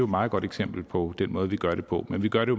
meget godt eksempel på den måde vi gør det på men vi gør det